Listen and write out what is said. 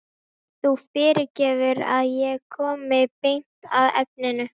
Þú fyrirgefur að ég komi beint að efninu.